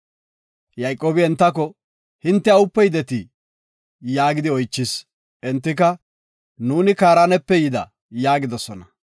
Yayqoobi entako, “Hinte awupe yidetii?” yaagidi oychis. Entika, “Nuuni Kaaranepe yida” yaagidosona.